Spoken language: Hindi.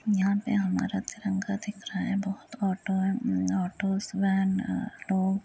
यहाँ पे हमारा तिरंगा दिख रहा है। बहोत ऑटो हैं। ऑटोस वैन लोग --